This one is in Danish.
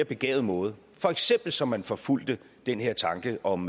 begavet måde for eksempel så man forfulgte den her tanke om